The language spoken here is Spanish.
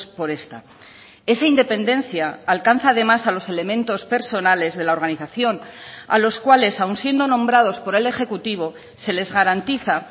por esta esa independencia alcanza además a los elementos personales de la organización a los cuales aun siendo nombrados por el ejecutivo se les garantiza